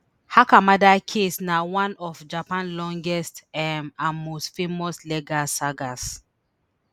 hakamada case na one of japan longest um and most famous legal sagas